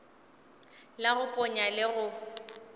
la go ponya le go